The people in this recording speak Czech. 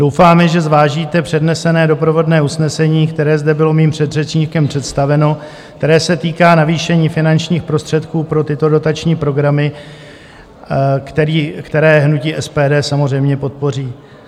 Doufáme, že zvážíte přednesené doprovodné usnesení, které zde bylo mým předřečníkem představeno, které se týká navýšení finančních prostředků pro tyto dotační programy, které hnutí SPD samozřejmě podpoří.